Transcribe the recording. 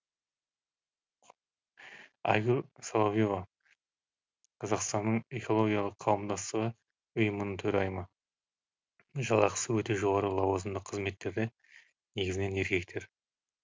айгүл соловьева қазақстанның экологиялық қауымдастығы ұйымының төрайымы жалақысы өте жоғары лауазымды қызметтерде негізінен еркектер